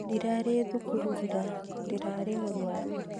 Ndirarĩ thukuru ira, ndĩrarĩ mũrwaru